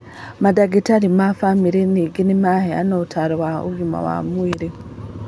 Mandagĩtarĩ ma bamĩrĩ ningĩ nĩmaheanaga ũtaaro wa ũgima wa mwĩrĩ